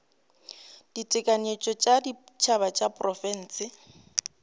ditekanyetšo tša setšhaba tša diprofense